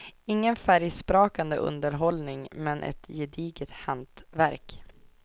Ingen färgsprakande underhållning, men ett gediget hantverk.